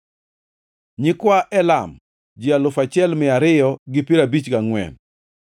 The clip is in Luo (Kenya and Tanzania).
nyikwa Elam, ji alufu achiel mia ariyo gi piero abich gangʼwen (1,254),